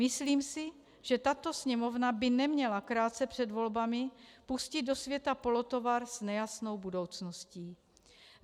Myslím si, že tato Sněmovna by neměla krátce před volbami pustit do světa polotovar s nejasnou budoucností.